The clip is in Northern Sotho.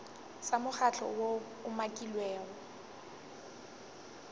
sa mokgatlo woo o umakilwego